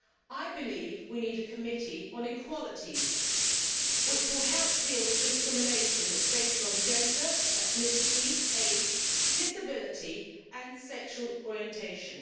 I believe we need a committee on equalities, which will help deal with discrimination that is based on gender, ethnicity, age, disability and sexual orientation.